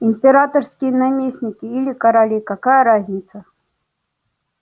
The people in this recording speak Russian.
императорские наместники или короли какая разница